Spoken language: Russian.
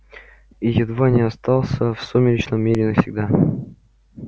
и едва не остался в сумеречном мире навсегда